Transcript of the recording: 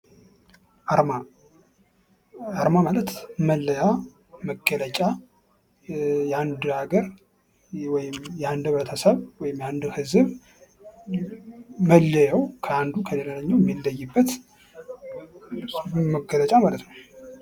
አርማ አርማ ማለት መለያ መገለጫ የአንድ ሃገር የአንድ ህብረተሰብ ወይም የአንድ ህዝብ መለያው አንዱ ከሌላኛው የሚለይበት መገለጫ ማለት ነው።